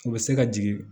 U bɛ se ka jigin